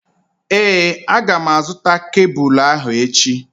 Ee, a gá m a zụta kebụlụ ahụ echi